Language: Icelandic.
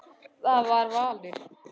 Það var valur.